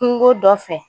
Kungo dɔ fɛ